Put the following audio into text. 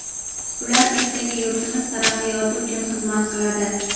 Ular ertaga yurtimiz taraqqiyoti uchun xizmat qiladi.